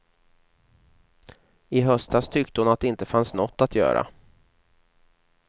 I höstas tyckte hon att det inte fanns nåt att göra.